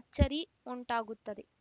ಅಚ್ಚರಿ ಉಂಟಾಗುತ್ತದೆ